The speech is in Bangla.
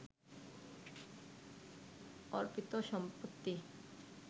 অর্পিত সম্পত্তি